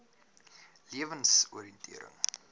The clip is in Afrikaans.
lewensoriëntering